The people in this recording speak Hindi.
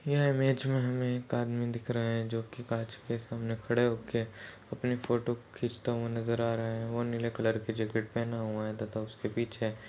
यह इमेज में हमे एक आदमी दिख रहा है जोकि कांच के सामने खड़े होके अपनी फोटो खींचता हुआ नज़र आ रहा हैं वो नीले कलर की जेकेट पहना हुआ है तथा उसकी पीछे--